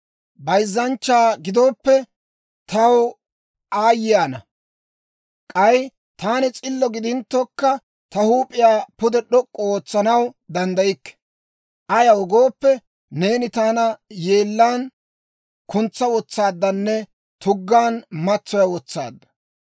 Bayzzanchcha gidooppe, taw aayye ana! K'ay taani s'illo gidinttokka, ta huup'iyaa pude d'ok'k'u ootsanaw danddaykke. Ayaw gooppe, neeni taana yeellaan kuntsa wotsaaddanne tuggaan matsoya wotsaadda.